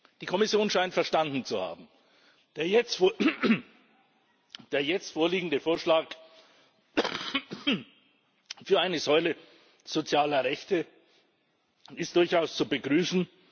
Die Kommission scheint verstanden zu haben der jetzt vorliegende Vorschlag für eine Säule sozialer Rechte ist durchaus zu begrüßen.